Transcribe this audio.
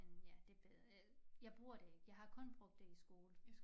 Men ja det øh jeg bruger det ikke. Jeg har kun brugt det i skole